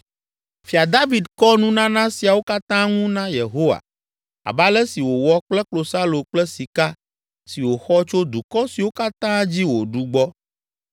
Fia David kɔ nunana siawo katã ŋu na Yehowa, abe ale si wòwɔ kple klosalo kple sika si wòxɔ tso dukɔ siwo katã dzi wòɖu gbɔ,